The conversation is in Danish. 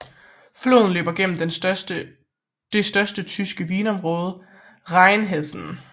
Floden løber gennem det største tyske vinområde Rheinhessen